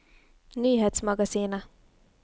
nyhetsmagasinet